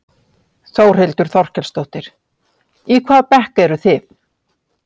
Þórhildur Þorkelsdóttir: Í hvaða bekk eruð þið?